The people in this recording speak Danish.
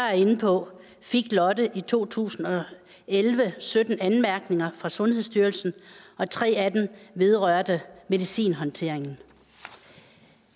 er inde på fik lotte i to tusind og elleve sytten anmærkninger fra sundhedsstyrelsen og tre af dem vedrørte medicinhåndteringen